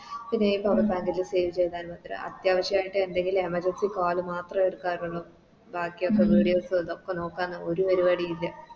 പിന്നെ ഈ Power bank ലും Save ചെയ്ത മാത്രേ അത്യാവശ്യയിട്ട് എന്തെങ്കിലും Emergency call മാത്രേ എടുക്കാറുള്ളു ബാക്കിയൊക്കെ Videos ഇതൊക്കെ നോക്കാനും ഒര് പരിപാടിയു ഇല്ല